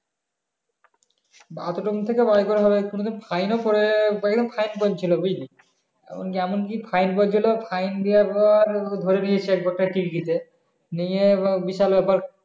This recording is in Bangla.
bathroom থেকে বের করা হবে কোনো দিন fine ও পরে যায় fine পরছিল বুঝলি যেমন কি fine পরছিল fine দাওয়ার পর নিয়ে বিশাল বেপার